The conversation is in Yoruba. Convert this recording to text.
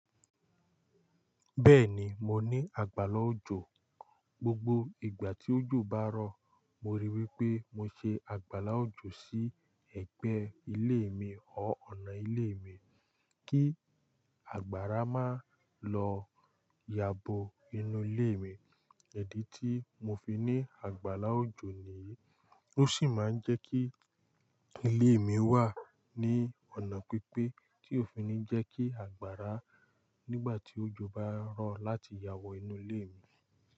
Bẹ́ẹ̀ni, mo ní àgbàlá òjò. Gbogbo ìgbà tí òjò bá rọ̀, mo ríi wí pé mo ṣe àgbàlá òjò sí ẹ̀gbẹ́ ilé mi ọ ọ̀nà ilé mi kí àgbàrá má lọ yabo inú ilé mi. Idì tí mo fi ní àgbàlá òjò nìyí, ó sì máa ń jẹ́ kí ilé mi wà ní ọ̀nà pípé tí ó fi ní jẹ́ kí àgbàrá nígbà tí òjò bá rọ̀ láti yàwọ́ inú ilé mi.